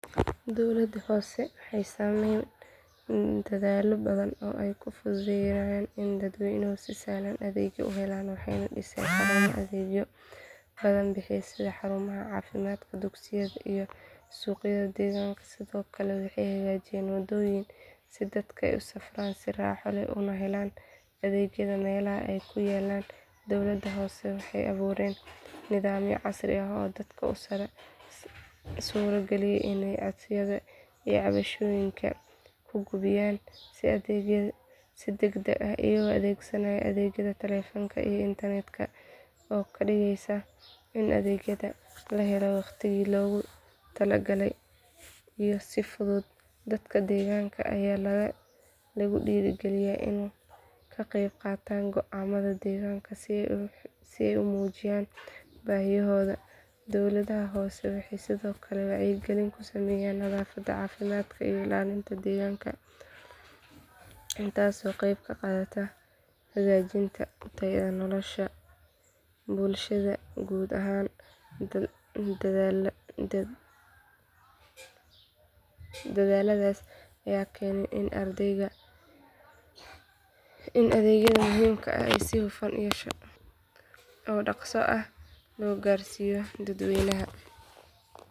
Dowladdaha hoose waxay sameeyeen dadaallo badan oo ay ku fududeynayaan in dadweynuhu si sahlan adeegyo u helaan waxay dhiseen xarumo adeegyo badan bixiya sida xarumaha caafimaadka dugsiyada iyo suuqyada deegaanka sidoo kale waxay hagaajiyeen wadooyinka si dadka u safraan si raaxo leh una helaan adeegyada meelaha ay ku yaallaan dowladdaha hoose waxay abuureen nidaamyo casri ah oo dadka u suura geliya inay codsiyada iyo cabashooyinka ku gudbiyaan si degdeg ah iyagoo adeegsanaya adeegyada taleefanka iyo internetka taas oo ka dhigaysa in adeegyada la helo waqtigii loogu talagalay iyo si fudud dadka deegaanka ayaa lagu dhiirrigeliyaa inay ka qaybqaataan go’aamada deegaanka si ay u muujiyaan baahiyahooda dowladdaha hoose waxay sidoo kale wacyigelin ku sameeyaan nadaafadda caafimaadka iyo ilaalinta deegaanka taasoo ka qayb qaadata hagaajinta tayada nolosha bulshada guud ahaan dadaalladaas ayaa keenay in adeegyada muhiimka ah si hufan oo dhaqso leh loo gaarsiiyo dadweynaha.